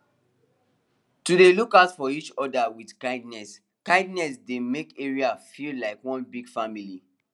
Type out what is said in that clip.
to dey look out for each other with kindness kindness dey make area feel like one big family